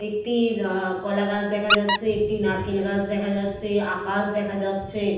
একটি আহ কলাগাছ দেখা যাচ্ছেএকটি নারকেল গাছ দেখা যাচ্ছেআকাশ দেখা যাচ্ছে।